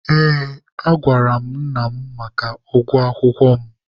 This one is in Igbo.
Ee, agwara m nna mụ maka ụgwọ akwụkwọ mụ.